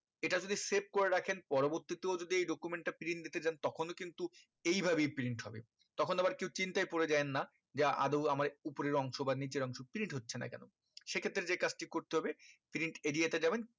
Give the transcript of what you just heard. এটা যোদি save করে রাখেন পরবর্তী তেও যদি এই document যদি print দিতে যান তখনো কিন্তু এই ভাবেই print হবে তখন আবার কেও চিন্তায় পরে জায়েন না যে আদো আমার উপরের অংশ বা নিচের অংশ print হচ্ছে না কেন সে ক্ষেত্রে যে কাজটি করতে হবে print area তে যাবেন